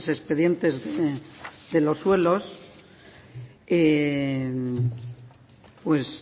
esos expedientes de los suelos